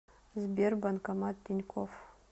сбер банкомат тинькофф